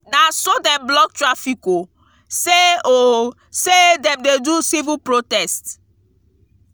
na so dem block traffic o sey o sey dem dey do civil protest.